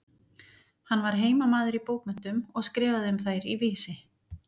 Hann var heimamaður í bókmenntum og skrifaði um þær í Vísi.